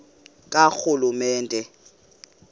karhulumente